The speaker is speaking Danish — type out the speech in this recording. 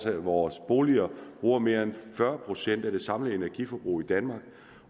at vores boliger bruger mere end fyrre procent af det samlede energiforbrug i danmark